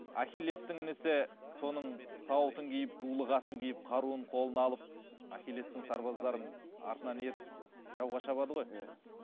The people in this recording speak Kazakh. ахилестің інісі соның сауытын киіп дулығасын киіп қаруын қолына алып ахилестің сарбаздарын артынан ертіп жауға шабады ғой иә